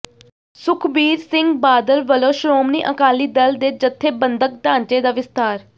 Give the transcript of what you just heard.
ਸੁਖਬੀਰ ਸਿੰਘ ਬਾਦਲ ਵਲੋਂ ਸ਼੍ਰੋਮਣੀ ਅਕਾਲੀ ਦਲ ਦੇ ਜਥੇਬੰਦਕ ਢਾਂਚੇ ਦਾ ਵਿਸਥਾਰ